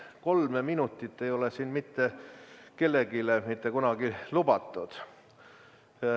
Kolme minutit ei ole siin mitte kellelegi mitte kunagi lubatud.